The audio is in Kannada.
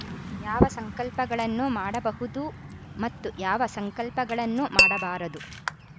ಯಾವ ಸಂಕಲ್ಪಗಳನ್ನು ಮಾಡಬಹುದು ಮತ್ತು ಯಾವ ಸಂಕಲ್ಪಗಳನ್ನು ಮಾಡಬಾರದು